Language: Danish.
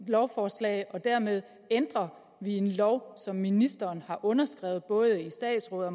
lovforslag og dermed ændrer vi en lov som ministeren har underskrevet både i statsrådet og